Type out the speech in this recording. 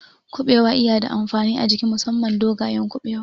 Kuɓewa iya da amfani a jiki musamman dogayen Kuɓewa